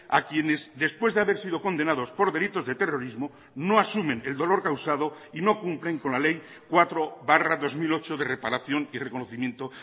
a quienes después de haber sido condenados por delitos de terrorismo no asumen el dolor causado y no cumplen con la ley cuatro barra dos mil ocho de reparación y reconocimiento